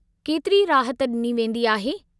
केतिरी राहत ॾिनी वेंदी आहे?